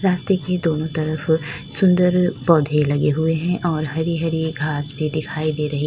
रास्ते के दोनों तरफ सुंदर पौधे लगे हुए हैं और हरी हरी घास भी दिखाई दे रही--